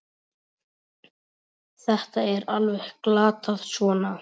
Þetta er alveg glatað svona!